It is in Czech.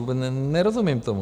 Vůbec nerozumím tomu!